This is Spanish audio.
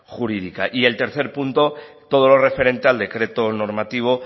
jurídica y el tercer punto todo lo referente al decreto normativo